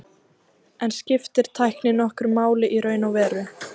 En skiptir tæknin nokkru máli í raun og veru?